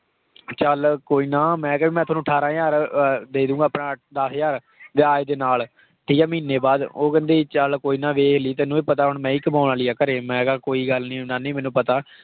ਚੱਲ ਕੋਈ ਨਾ ਮੈਂ ਕਿਹਾ ਵੀ ਮੈਂ ਤੁਹਾਨੂੰ ਅਠਾਰਾਂ ਹਜ਼ਾਰ ਅਹ ਦੇ ਦਊਂਗਾ ਆਪਣਾ ਦਸ ਹਜ਼ਾਰ ਵਿਆਜ ਦੇ ਨਾਲ ਠੀਕ ਹੈ ਮਹੀਨੇ ਬਾਅਦ, ਉਹ ਕਹਿੰਦੀ ਚੱਲ ਕੋਈ ਨਾ ਵੇਖ ਲਈ ਤੈਨੂੰ ਵੀ ਪਤਾ ਹੁਣ ਮੈਂ ਹੀ ਕਮਾਉਣ ਵਾਲੀ ਹਾਂ ਘਰੇ, ਮੈਂ ਕਿਹਾ ਕੋਈ ਗੱਲ ਨੀ ਨਾਨੀ ਮੈਨੂੰ ਪਤਾ।